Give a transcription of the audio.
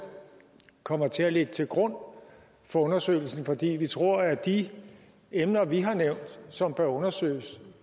kommer til at ligge til grund for undersøgelsen fordi vi tror at de emner vi har nævnt som bør undersøges